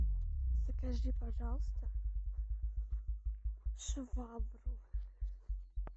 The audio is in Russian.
закажи пожалуйста швабру